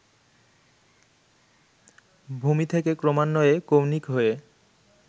ভূমি থেকে ক্রমান্বয়ে কৌণিক হয়ে